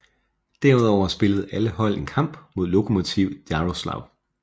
Derudover spillede alle hold én kamp mod Lokomotiv Jaroslavl